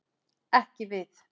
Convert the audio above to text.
Ekki við.